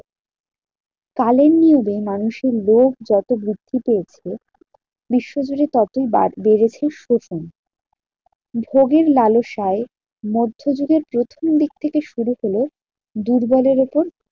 কালের নিয়মে মানুষের রোগ যত বৃদ্ধি পেয়েছে বিশ্বজুড়ে ততই বার বেড়েছে শোষণ। ভোগের লালসায় মধ্যযুগের প্রথম দিক থেকে শুরু হলো দুর্বলের উপর